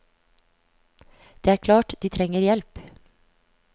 Det er klart de trenger hjelp.